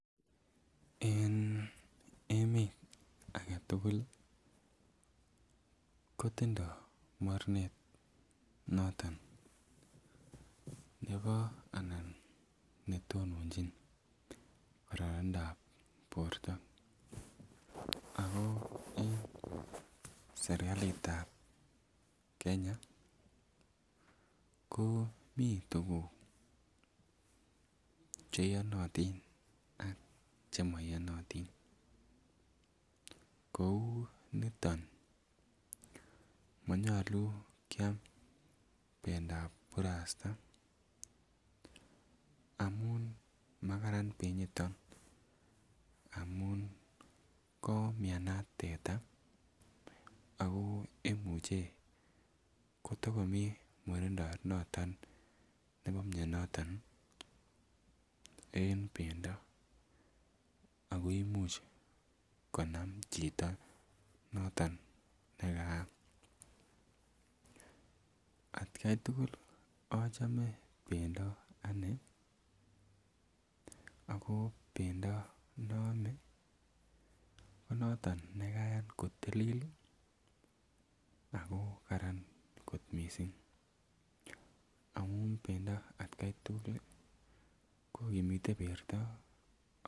En emet aketugul ih kotindoo mornet noton nebo anan netononjin kororonindap borto ako en serkalit ab Kenya ko mii tuguk cheyonotin ak chemoyonotin kou niton monyolu kiam bendap burasta amun makaran benyiton amun koumianat teta ako imuche kotokomii murindo noton nebo mioniton en bendo ako imuch konam chito noton nekaam atkai tugul achome bendo anee ako bendo noome konoton nekayan kotilil ih ako karan kot missing amun bendo atkai tugul kokimite borto